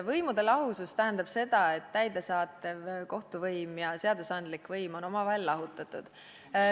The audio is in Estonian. Võimude lahusus tähendab seda, et täidesaatev võim, kohtuvõim ja seadusandlik võim on omavahel lahutatud.